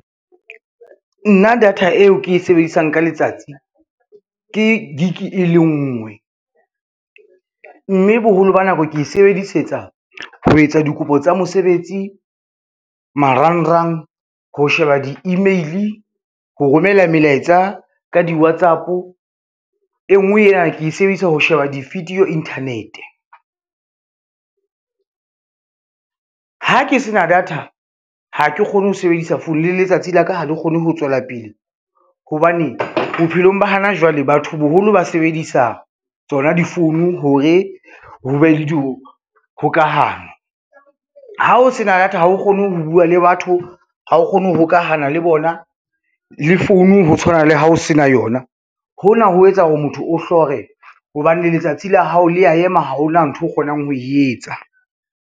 Nna data eo ke e sebedisang ka letsatsi, ke Gig e le nngwe, mme boholo ba nako ke e sebedisetsa ho etsa dikopo tsa mosebetsi, marangrang, ho sheba di-email, ho romela melaetsa ka di-WhatsApp, e ngwe ena ke e sebedisa ho sheba di-video internet. Ha ke sena data ha ke kgone ho sebedisa phone le letsatsi la ka ha le kgone ho tswela pele hobane, bophelong ba hana jwale batho boholo ba sebedisa tsona di-phone hore ho be le dihokahanyo. Ha o se na data ha o kgone ho bua le batho, ha o kgone ho hokahana le bona le phone ho tshwana le ha o se na yona, hona ho etsa hore motho o hlore hobane letsatsi la hao le ya ema ha hona ntho o kgonang ho e etsa.